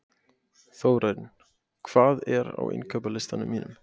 Þórinn, hvað er á innkaupalistanum mínum?